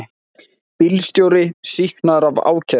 Bílstjóri sýknaður af ákæru